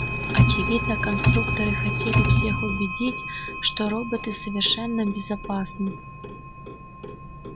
очевидно конструкторы хотели всех убедить что роботы совершенно безопасны